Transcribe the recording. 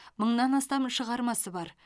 мыңнан астам шығармасы бар